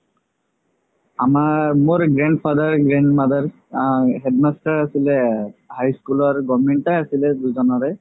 আমাৰ মোৰ grandfather grandmother আ headmaster আছিলে high school ৰ government য়ে আছিলে দুজনৰে